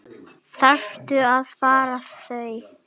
Þarftu að fá þau?